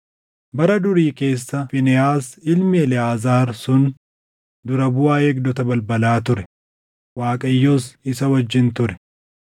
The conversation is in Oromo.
Bara durii keessa Fiinehaas ilmi Eleʼaazaar sun dura buʼaa eegdota balbalaa ture; Waaqayyos isa wajjin ture.